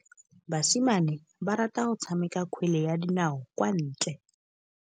Basimane ba rata go tshameka kgwele ya dinaô kwa ntle.